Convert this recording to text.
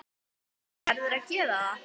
Verður að gera það.